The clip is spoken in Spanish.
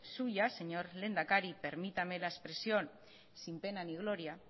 suyas señor lehendakari permítame la expresión sin pena ni gloria